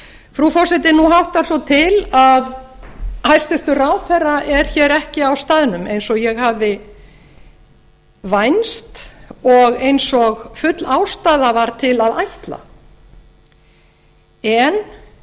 frú forseti nú háttar svo til að hæstvirtur ráðherra er hér ekki á staðnum eins og ég hafði vænst og eins og full ástæða var til að ætla en